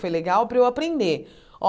Foi legal para eu aprender. Ó